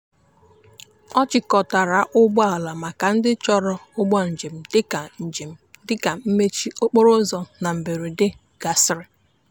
ọ chịkọtara ụgbọala maka ndị chọrọ ụgbọ njem dị ka njem dị ka mmechi okporoụzọ na mberede gasịrị.